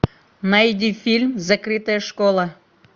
найди фильм закрытая школа